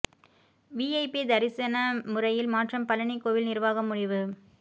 VIP தரிசன முறையில் மாற்றம் பழநி கோயில் நிர்வாகம் முடிவு